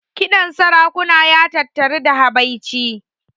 Kiɗan sarakuna ya tattari da habaici.